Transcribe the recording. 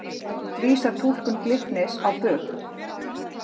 Vísar túlkun Glitnis á bug